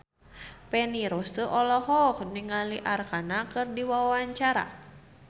Feni Rose olohok ningali Arkarna keur diwawancara